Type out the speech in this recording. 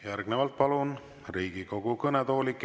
Järgnevalt palun Riigikogu kõnetooli Kert Kingo.